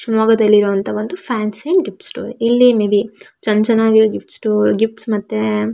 ಶಿವಮೊಗ್ಗದಲ್ಲಿರುವಂತಹ ಒಂದು fancy gift store ಇಲ್ಲಿ may be ಚನ್ನ ಚನ್ನಾಗಿರೋ ಗಿಫ್ಟ್ ಸ್ಟೋರ್ ಗಿಫ್ಟ್ ಮತ್ತೆ--